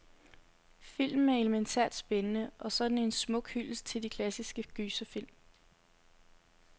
Filmen er elemæntært spændende, og så er den en smuk hyldest til de klassiske gyserfilm.